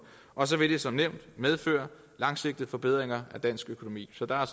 og så vil det som nævnt medføre langsigtede forbedringer af dansk økonomi så der er